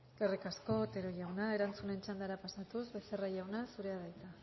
eskerrik asko otero jauna erantzunen txandara pasatuz becerra jauna zurea da hitza